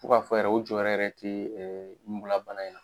Fo ka fɔ yɛrɛ u jɔyɔrɔ yɛrɛ te murabana in na.